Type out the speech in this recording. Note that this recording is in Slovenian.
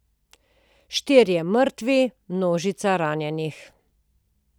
Štirje mrtvi, množica ranjenih.